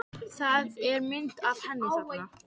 Það er mynd af henni þarna.